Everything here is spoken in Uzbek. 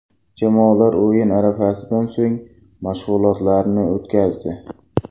Jamoalar o‘yin arafasida so‘nggi mashg‘ulotlarni o‘tkazdi.